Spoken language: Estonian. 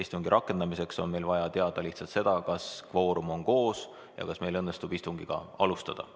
Istungi rakendamiseks on meil vaja teada lihtsalt seda, kas kvoorum on koos ja kas meil õnnestub istungit alustada.